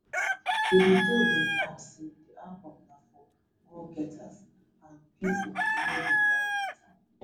davido bin add say di album na for go getters and pipo wey dey ride wit am